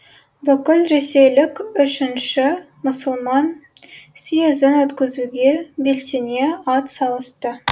бүкілресейлік үшінші мұсылман съезін өткізуге белсене ат салысты